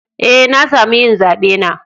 Eh, na samu yin zabe na.